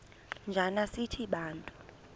njana sithi bantu